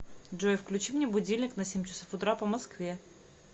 джой включи мне будильник на семь часов утра по москве